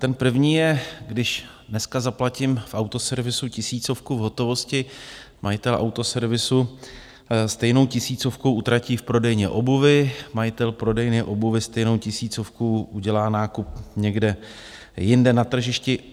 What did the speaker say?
Ten první je, když dneska zaplatím v autoservisu tisícovku v hotovosti, majitel autoservisu stejnou tisícovku utratí v prodejně obuvi, majitel prodejny obuvi stejnou tisícovkou udělá nákup někde jinde na tržišti.